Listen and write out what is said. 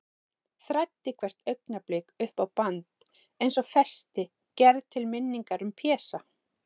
Þræddi hvert augnablik upp á band, eins og festi gerða til minningar um Pésa.